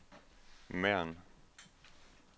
Mern